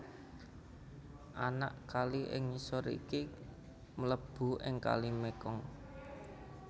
Anak kali ing ngisor iki mlebu ing Kali Mekong